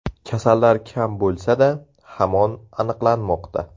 Kasallar kam bo‘lsa-da, hamon aniqlanmoqda.